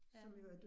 Ja